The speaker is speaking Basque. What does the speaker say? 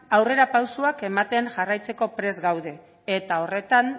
aurrerapausoak ematen jarraitzeko prest gaude eta horretan